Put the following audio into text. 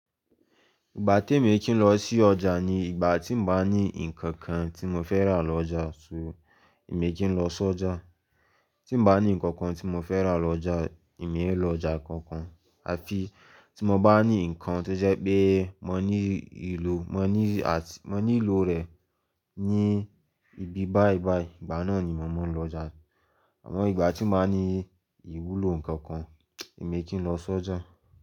Ìgbà tèmi e kì í lọ sí ọjà ni ìgbà tí ń bá ní nǹkan kan tí mò fẹ́ rà lọ ọjà, só èmi e kì í lọ sọjà. Tí mò ń bá ní nǹkan kan tí mò fẹ́ rà lọ ọjà, èmi ń lọ ọjà kankan. Àfi tí mò ń bá ní nǹkan tó jẹ́ pé mò ní ìlò, mò ní àti mò ní lò rẹ̀ ní ibi báí báí, ìgbà náà ni mò maa n lọjà. Àmọ́ ìgbà tí n ba ní ìwúlò nǹkan kan, èmi e kì í lọ sọjà.